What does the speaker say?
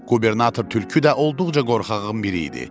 Qubernator tülkü də olduqca qorxağın biri idi.